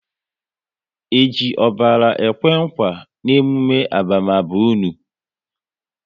E ji ọbara ekwe nkwa n'emume abamaba unu?